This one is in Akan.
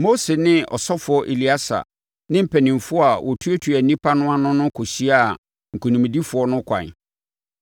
Mose ne ɔsɔfoɔ Eleasa ne mpanimfoɔ a wɔtuatua nnipa no ano no kɔhyiaa nkonimdifoɔ no ɛkwan.